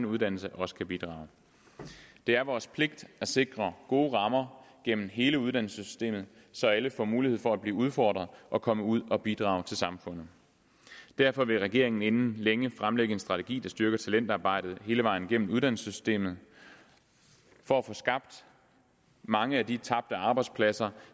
uddannelse også kan bidrage det er vores pligt at sikre gode rammer gennem hele uddannelsessystemet så alle får mulighed for at blive udfordret og komme ud og bidrage til samfundet derfor vil regeringen inden længe fremlægge en strategi der styrker talentarbejdet hele vejen igennem uddannelsessystemet for at få skabt mange af de tabte arbejdspladser